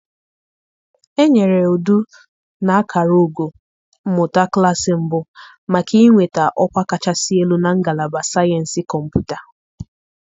Enyere Edu na akara ugo mmụta klaasị mbụ maka inweta ọkwa kachasị elu na Ngalaba Sayensị Kọmputa.